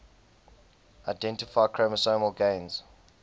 identify chromosomal gains